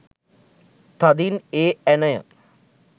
තදින් ඒ ඇණය